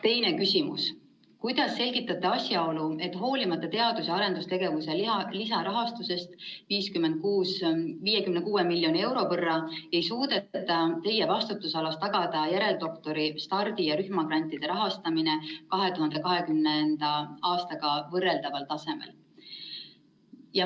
Teine küsimus: "Kuidas selgitate asjaolu, et hoolimata teadus‑ ja arendustegevuse lisarahastusest 56 miljoni euro võrra ei suudeta teie vastutusalas tagada järeldoktori‑, stardi‑ ja rühmagrantide rahastamist 2020. aastaga võrreldaval tasemel?